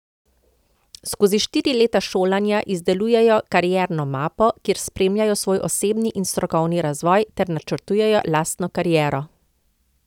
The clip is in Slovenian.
Skozi štiri leta šolanja izdelujejo Karierno mapo, kjer spremljajo svoj osebni in strokovni razvoj ter načrtujejo lastno kariero.